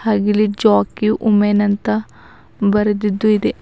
ಹಾಗೆ ಇಲ್ಲಿ Jockey women ಅಂತ ಬರ್ದಿದ್ದು ಇದೆ.